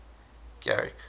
garrick